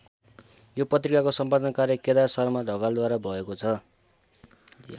यो पत्रिकाको सम्पादन कार्य केदार शर्मा ढकालद्वारा भएको छ।